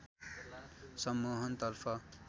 सम्मोहन तर्फ